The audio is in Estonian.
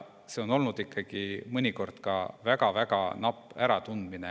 See on olnud ikkagi mõnikord väga-väga napp äratundmine.